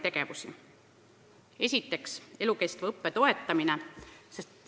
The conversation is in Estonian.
Esiteks, elukestva õppe toetamine.